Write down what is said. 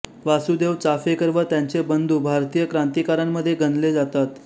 वासुदेव चाफेकर व त्यांचे बंधू भारतीय क्रांतिकारकांमध्ये गणले जातात